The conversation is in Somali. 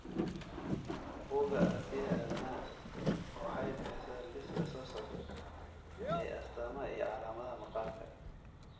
Bugga Aragtiyaha Aadanaha waxay bixisaa liiska soo socda ee astaamaha iyo calaamadaha maqaarka.